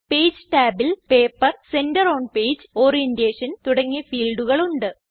page ടാബിൽ paper centre on page orientation തുടങ്ങിയ ഫീൽഡുകൾ ഉണ്ട്